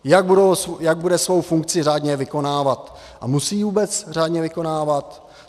Jak bude svou funkci řádně vykonávat a musí ji vůbec řádně vykonávat?